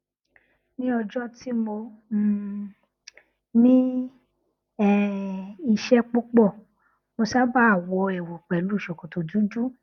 ní ọjọ tí mo um ní um iṣẹ púpọ mo sábà wọ ẹwù pẹlú ṣòkòtò dúdú